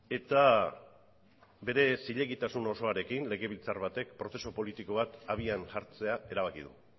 eta bere zilegitasun osoarekin legebiltzar batek prozesu politiko bat abian jartzea erabaki du